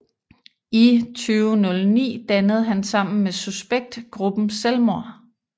I 2009 dannede han sammen med Suspekt gruppen Selvmord